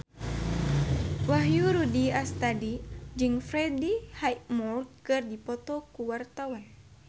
Wahyu Rudi Astadi jeung Freddie Highmore keur dipoto ku wartawan